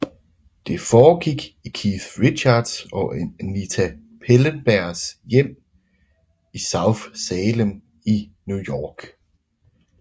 Det forgik i Keith Richards og Anita Pallenbergs hjem i South Salem i New York